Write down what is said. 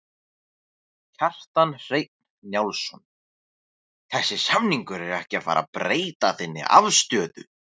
Kjartan Hreinn Njálsson: Þessi samningur er ekki að fara að breyta þinni afstöðu?